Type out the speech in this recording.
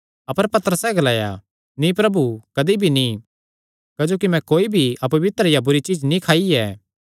अपर पतरसैं ग्लाया नीं प्रभु कदी भी नीं क्जोकि मैं कोई भी अपवित्र या बुरी चीज्ज नीं खाई ऐ